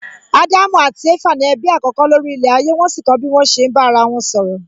Ádámù àti Éfà ni ẹbí àkọ́kọ́ lórí ilẹ̀ ayé wón sì kọ́ bí wón ṣe ń bá ara wọn sọ̀rọ̀